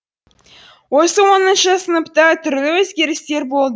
осы оныншы сыныпта түрлі өзгерістер бол